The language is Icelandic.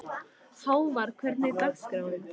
Hávar, hvernig er dagskráin?